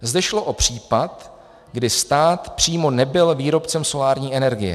Zde šlo o případ, kdy stát přímo nebyl výrobcem solární energie.